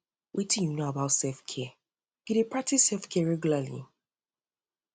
wetin um you know you know about selfcare you dey practice selfcare regularly